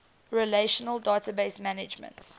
relational database management